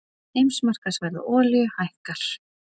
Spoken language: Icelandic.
Heimsmarkaðsverð á olíu hækkar